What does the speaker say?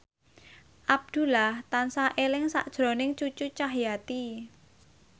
Abdullah tansah eling sakjroning Cucu Cahyati